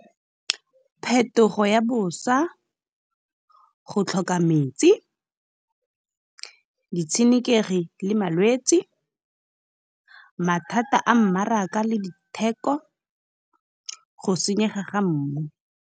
Phetogo ya bosa, go tlhoka metsi, ditshenekegi le malwetse, mathata a mmaraka le ditheko, go senyega ga mmu.